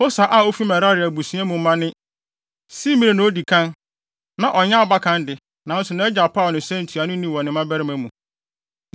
Hosa a ofi Merari abusua mu mma ne: Simri na odi kan (na ɔnyɛ abakan de, nanso nʼagya paw no sɛ ntuanoni wɔ ne mmabarima mu).